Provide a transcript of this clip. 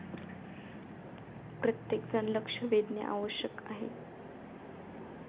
प्रत्येकजण लक्ष वेधणे आवश्यक आहे.